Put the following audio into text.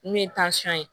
N'o ye ye